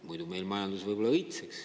Muidu meil majandus võib-olla õitseks.